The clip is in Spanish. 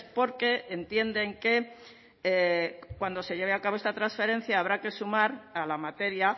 porque entienden que cuando se lleve a cabo esta transferencia habrá que sumar a la materia